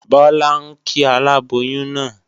Bọ́lá ń kí aláboyún náà